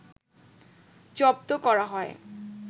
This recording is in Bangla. জব্ধ করা হয়